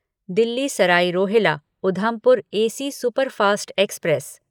Delhi Sarai Rohilla Udhampur AC superfast express